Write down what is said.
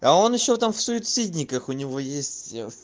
а он ещё там в суицидниках у него есть